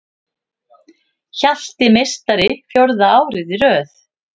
Hjalti meistari fjórða árið í röð